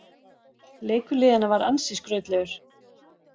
Leikur liðanna var ansi skrautlegur